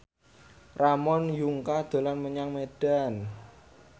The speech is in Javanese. Ramon Yungka dolan menyang Medan